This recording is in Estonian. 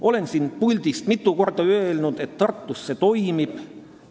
Olen siit puldist mitu korda öelnud, et Tartus see toimib.